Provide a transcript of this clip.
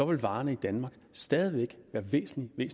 ville varerne i danmark stadig væk være væsentlig